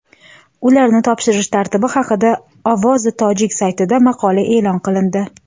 ularni topshirish tartibi haqida "Ovozi tojik" saytida maqola e’lon qilindi.